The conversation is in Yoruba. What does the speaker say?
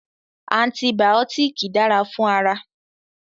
Antibàọ́tìkì dára fún ara.